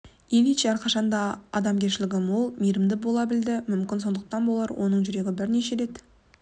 ильич әрқашан да адамгершілі мол мейірімді бола білді мүмкін сондықтан болар оның жүрегі бірнеше рет